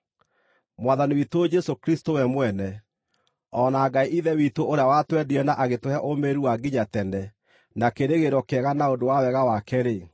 Mwathani witũ Jesũ Kristũ we mwene, o na Ngai Ithe witũ ũrĩa watwendire na agĩtũhe ũũmĩrĩru wa nginya tene na kĩĩrĩgĩrĩro kĩega na ũndũ wa Wega wake-rĩ,